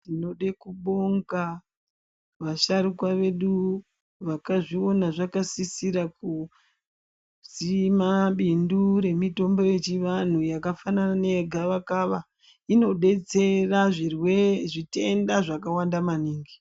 Tinoda kubonga vasharukwa vedu vakazviona zvakasisira kusima bindu remutombo wechianhu wakafanana newe gavakava. Inodetsera pazvitenda zvakawanda maningi.